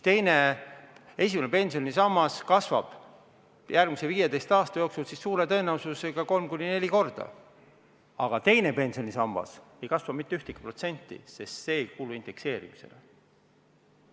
Esimene pensionisammas kasvab järgmise 15 aasta jooksul suure tõenäosusega 3–4 korda, aga teine pensionisammas ei kasva mitte ühtegi protsenti, sest see ei kuulu indekseerimisele.